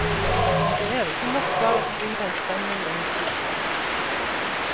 Det er ikke nok bare å skrive en spennende historie.